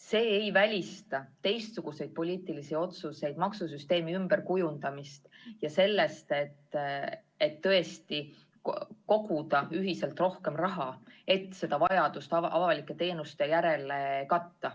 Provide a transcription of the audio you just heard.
See ei välista teistsuguseid poliitilisi otsuseid, maksusüsteemi ümberkujundamist ja seda, et tõesti koguda ühiselt rohkem raha, et vajadust avalike teenuste järele katta.